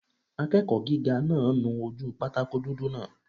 Akẹ́kọ̀ọ́ gíga náà nu ojú pátákó dúdú náà